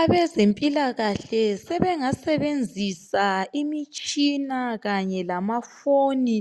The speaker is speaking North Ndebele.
Abezempilakahle sebengasebenzisa imitshina kanye lamafoni